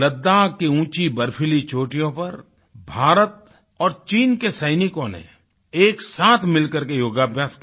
लद्दाख की ऊँची बर्फीली चोटियों पर भारत और चीन के सैनिकों ने एकसाथ मिलकर के योगाभ्यास किया